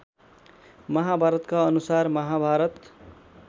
महाभारतका अनुसार महाभारत